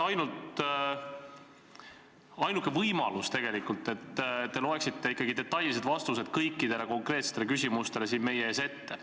Ainuke võimalus oleks tegelikult see, et loeksite detailsed vastused kõikidele konkreetsetele küsimustele siin meie ees ette.